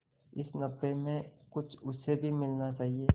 इस नफे में कुछ उसे भी मिलना चाहिए